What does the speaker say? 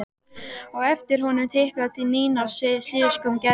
Á eftir honum tiplaði Nína og síðust kom Gerður.